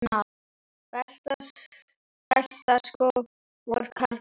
Besta skor, karlar